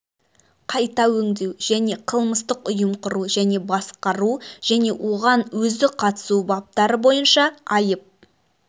қайта өңдеу және қылмыстық ұйым құру және басқару және оған өзі қатысу баптары бойынша айып